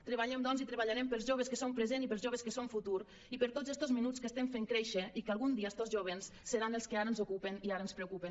treballem doncs i treballarem pels joves que són present i pels joves que són futur i per tots estos menuts que estem fent créixer i que algun dia estos jóvens seran els que ara ens ocupen i ara ens preocupen